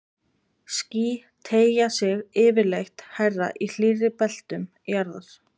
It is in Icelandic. Ský teygja sig yfirleitt hærra í hlýrri beltum jarðar.